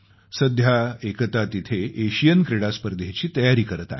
सध्या एकता तिथं एशियन क्रीडा स्पर्धेची तयारी करत आहे